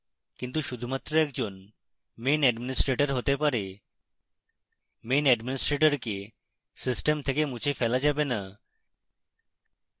কিন্তু শুধুমাত্র একজন main administrator হতে পারে